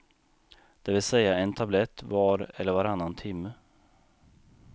Det vill säga en tablett var eller varannan timme.